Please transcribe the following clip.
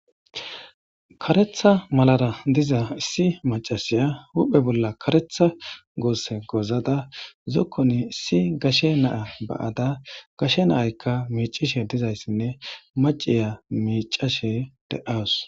karetha malara diza issi macasiya huphe bolla karetha goose gozada zokkoni issi gashe naa ba7ada gashe naaykka miicishe dizayssinne maciya miicashe de7awus